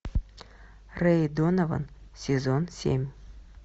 рэй донован сезон семь